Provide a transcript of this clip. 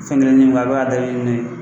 Fɛn kelen ni bi kɛ a bi ka dabiri nin ye